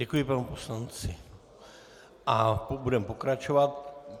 Děkuji panu poslanci a budeme pokračovat.